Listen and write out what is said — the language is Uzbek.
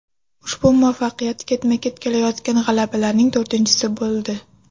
Ushbu muvaffaqiyat ketma-ket kelayotgan g‘alabalarning to‘rtinchisi bo‘ldi.